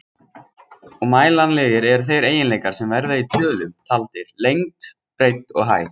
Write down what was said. Og mælanlegir eru þeir eiginleikar sem verða í tölum taldir, lengd, breidd og hæð.